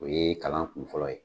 O ye kalan kun fɔlɔ ye.